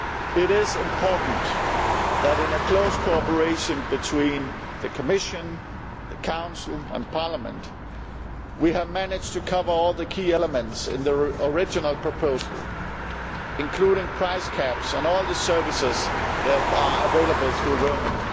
It is important that, with close cooperation between the Commission, the Council and Parliament, we have managed to cover all the key elements in the original proposal, including price caps on all the services that are available through roaming.